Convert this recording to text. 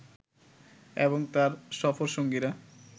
এবং তার সফরসঙ্গীরা